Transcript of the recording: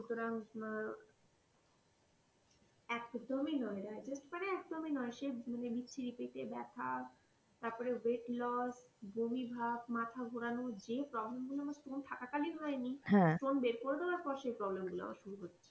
একদমই নয় digest মানে একদম ই নয়, স বিচ্ছিরি পেটে ব্যাথা, তারপর weight loss বমিভাব, মাথা ঘোরানো যে problem গুলো থাকা কালীন হয় নি, বের করে দেওয়ার পর সেই problem গুলো আবার শুরু হচ্ছে।